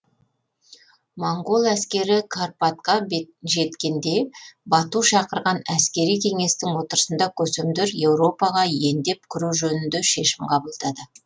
моңғол әскері карпатқа жеткенде бату шақырған әскери кеңестің отырысында көсемдер еуропаға ендеп кіру жөнінде шешім қабылдады